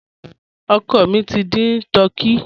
Ọ̀kọ́ mí tí n dín tùrkèyì.